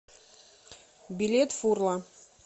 билет фурла